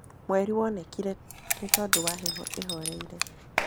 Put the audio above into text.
Mwerĩ wonekĩre nĩtondũ wa heho ĩhoreĩre